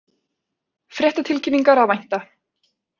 Fréttatilkynningar að vænta